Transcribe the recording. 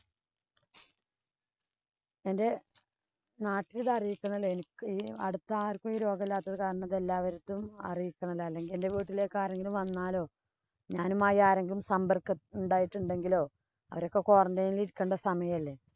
എന്‍റെ നാട്ടില്‍ ഇത് അറിയിക്കണോലോ. എനിക്ക് അടുത്താര്‍ക്കും ഈ രോഗമില്ലാത്തത് കാരണം അവര്‍ക്കും അറിയിക്കണോലോ. അല്ലെങ്കില്‍ എന്‍റെ വീട്ടിലേക്ക് ആരെങ്കിലും വന്നാലോ, ഞാനുമായി ആരെങ്കിലും സമ്പര്‍ക്കം ഉണ്ടായിട്ടുണ്ടെങ്കിലോ, അവരൊക്കെ quarantine ഇരിക്കേണ്ട സമയം അല്ലേ.